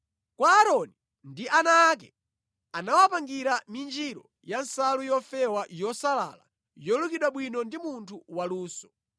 Kwa Aaroni ndi ana ake anawapangira minjiro ya nsalu yofewa yosalala, yolukidwa bwino ndi munthu waluso,